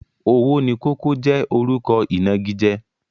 Owónikókó jẹ́ orúkọ ìnagijẹ.